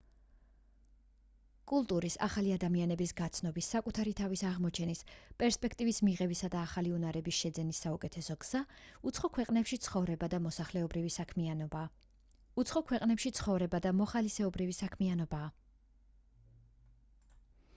კულტურის ახალი ადამიანების გაცნობის საკუთარი თავის აღმოჩენის პერსპექტივის მიღებისა და ახალი უნარების შეძენის საუკეთესო გზა უცხო ქვეყანაში ცხოვრება და მოხალისეობრივი საქმიანობაა